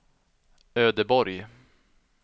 Ödeborg